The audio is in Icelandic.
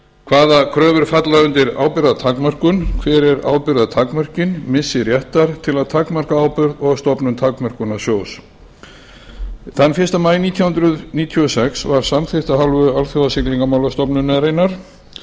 hvaða kröfur falla undir ábyrgðartakmörkun hver eru ábyrgðartakmörkin missi réttar til að takmarka ábyrgð og stofnun takmörkunarsjóða þann fyrsta maí nítján hundruð níutíu og sex var samþykkt af hálfu alþjóðasiglingamálastofnunarinnar